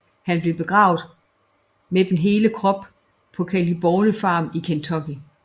Han blev begravet med den hele krop på Claiborne Farm i Kentucky